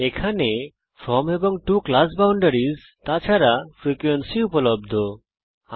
এখানে ফ্রম এবং to class boundaries তাছাড়া ফ্রিকোয়েন্সি ফ্রিকোয়েন্সি উপলব্ধ